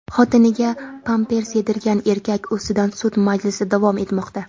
Xotiniga pampers yedirgan erkak ustidan sud majlisi davom etmoqda.